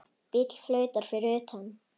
Bíll flautar fyrir utan.